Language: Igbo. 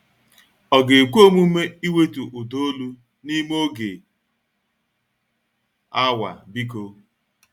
Ọ ga-ekwe omume iwetu ụda olu n'ime oge awa, biko?